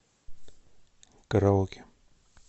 караоке